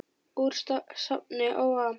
Úr safni ÓA